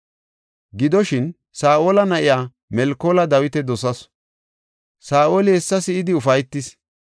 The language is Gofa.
Gidoshin, Saa7ola na7iya Melkoola Dawita dosasu; Saa7oli hessa si7idi ufaytis.